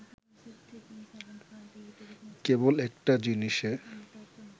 কেবল একটা জিনিসে